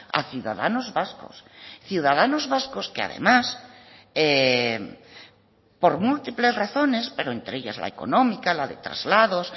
a ciudadanos vascos ciudadanos vascos que además por múltiples razones pero entre ellas la económica la de traslados